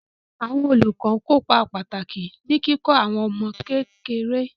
Àwọn olùkọ́ ń kópa pàtàkì ní kíkọ́ àwọn ọmọ kékeré.